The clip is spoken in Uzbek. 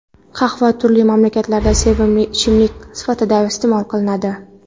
Qahva turli mamlakatlarda sevimli ichimlik sifatida iste’mol qilinadi.